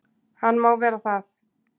Hann má vera það.